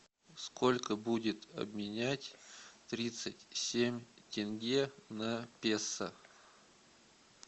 сколько будет обменять тридцать семь тенге на песо